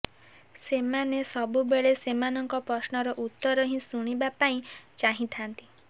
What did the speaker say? ସେମାନେ ସବୁବେଳେ ସେମାନଙ୍କ ପ୍ରଶ୍ନର ଉତ୍ତର ହିଁ ଶୁଣିବା ପାଇଁ ଚାହିଥାନ୍ତି